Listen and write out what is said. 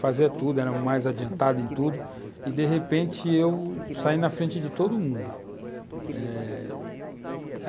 fazia tudo, era mais adiantado em tudo, e, de repente, eu saí na frente de todo mundo, eh